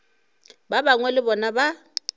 ba bangwe le bona ba